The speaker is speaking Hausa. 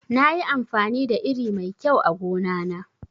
Nayi amfani da iri mai kyau a gona na